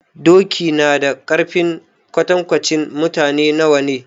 Doki na da ƙarfi na kwatankwacin mutane nawa ne?